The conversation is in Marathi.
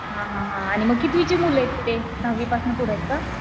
हां हां हां आणि मग कितवीची मुले आहेत ते? दहावीपासनं पुढं आहेत का?